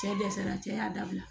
Cɛ dɛsɛra cɛ y'a dabila